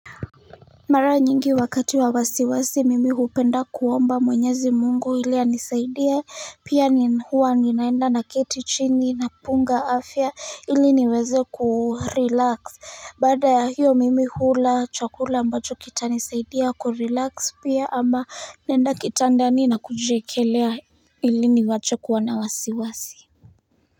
Mara nyingi wakati wa wasiwasi mimi hupenda kuomba mwenyezi mungu ili anisaidia pia ni huwa ninaenda naketi chini na punga afya ili niweze kurelax baada ya hiyo mimi hula chakula ambacho kitanisaidia kurelax pia ama naenda kitandani na kujikelea ili niwache kuwa na wasiwasi.